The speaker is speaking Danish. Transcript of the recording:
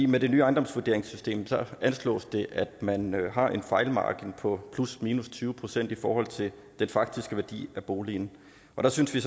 med det nye ejendomsvurderingssystem anslås det at man har en fejlmargin på plusminus tyve procent i forhold til den faktiske værdi af boligen og der synes vi